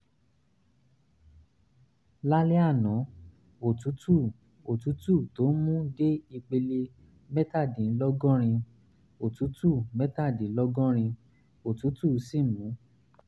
lálẹ́ àná òtútù òtútù tó ń mú dé ipele mẹ́tàdínlọ́gọ́rin òtútù mẹ́tàdínlọ́gọ́rin òtútù sì mú un